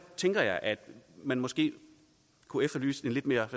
tænker jeg at man måske kunne efterlyse en lidt mere